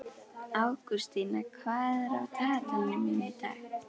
Ágústína, hvað er á dagatalinu mínu í dag?